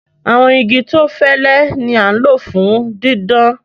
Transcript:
Àwọn igi tó fẹlé ni a n lọ fún dídán.